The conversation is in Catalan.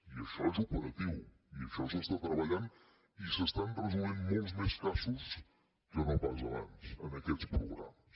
i això és operatiu i això s’està treballant i s’estan resolent molts més casos que no pas abans en aquests programes